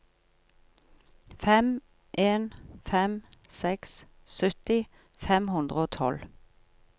fem en fem seks sytti fem hundre og tolv